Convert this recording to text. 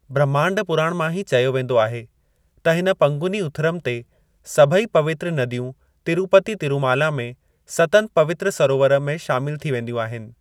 ब्रह्मांड पुराण मां ही चयो वेंदो आहे त हिन पंगुनी उथिरम ते, सभेई पवित्र नदियूं तिरुपति तिरुमाला में सतनि पवित्र सरोवर में शामिलु थी वींदियूं आहिनि।